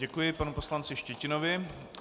Děkuji panu poslanci Štětinovi.